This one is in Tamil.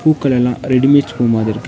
பூக்கள் எல்லா ரெடி மேட் பூ மாதிருக்கு.